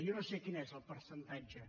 jo no sé quin és el percentatge